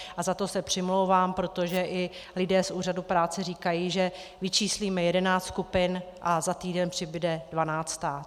A za to se přimlouvám, protože i lidé z úřadu práce říkají, že vyčíslíme jedenáct skupin a za týden přibude dvanáctá.